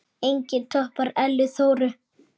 Enginn toppar Ellu Þóru.